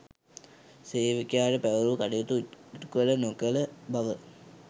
සේවකයාට පැවරූ කටයුතු ඉටුකළ නොකළ බව